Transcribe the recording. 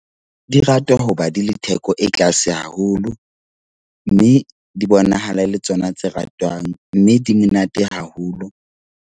Di ratwa hoba di le theko e tlase haholo, mme di bonahala e le tsona tse ratwang, mme di monate haholo.